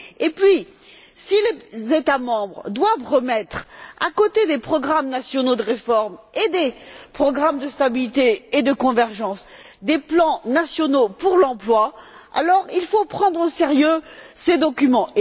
Puis, si les États membres doivent remettre, à côté des programmes nationaux de réforme et des programmes de stabilité et de convergence, des plans nationaux pour l'emploi, il faut alors prendre au sérieux ces documents.